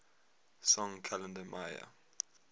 song kalenda maya